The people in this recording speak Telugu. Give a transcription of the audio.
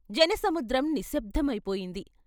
జన సముద్రం నిశ్శబ్దమై పోయింది.